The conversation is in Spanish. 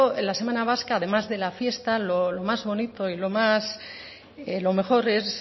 de la semana vasca además de la fiesta lo más bonito o lo mejor es